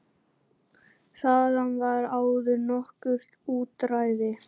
Þaðan var áður nokkurt útræði.